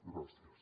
gràcies